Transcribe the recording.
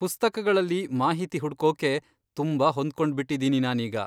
ಪುಸ್ತಕಗಳಲ್ಲಿ ಮಾಹಿತಿ ಹುಡ್ಕೋಕೆ ತುಂಬಾ ಹೊಂದ್ಕೊಂಡ್ಬಿಟ್ಟಿದೀನಿ ನಾನೀಗ.